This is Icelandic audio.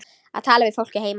Að tala við fólkið heima.